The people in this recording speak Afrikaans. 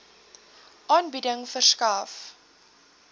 aanbieding verskaf